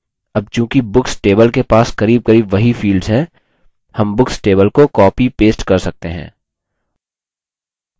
अब चूँकि books table के पास करीबकरीब वही fields हैं हम books table को copypaste कर सकते हैं